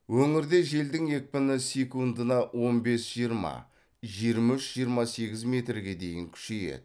өңірде желдің екпіні секундына он бес жиырма жиырма үш жиырма сегіз метрге дейін күшейеді